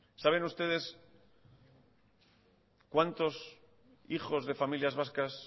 saben ustedes cuántos hijos de familias vascas